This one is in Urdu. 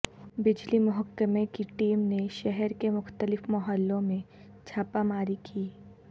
بجلی محکمہ کی ٹیم نے شہر کے مختلف محلوں میں چھاپہ ماری کی